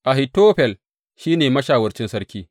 Ahitofel shi ne mashawarcin sarki.